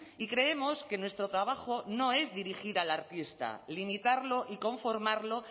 y creemos que nuestro trabajo no es dirigir al artista limitarlo y conformarlo